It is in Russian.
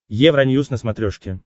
евроньюс на смотрешке